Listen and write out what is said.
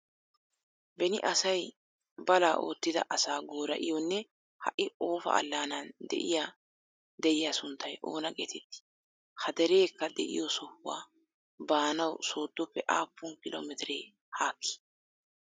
Beni asay balaa oottida asaa goora'iyonne ha"i Ofa alananni de'iya deriya sunttay oona geetettii? Ha derekka de'iyo sohuwa baanawu sooddoppe aappun kilo mitre haakkii?